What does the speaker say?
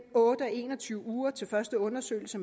otte og en og tyve uger til første undersøgelse